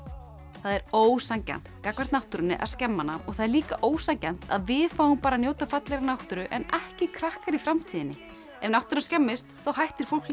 það er ósanngjarnt gagnvart náttúrunni að skemma hana og það er líka ósanngjarnt að við fáum bara að njóta fallegrar náttúru en ekki krakkar í framtíðinni ef náttúran skemmist þá hættir fólk líka